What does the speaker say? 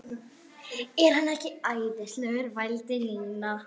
Er hann ekki æðislegur? vældi Nína.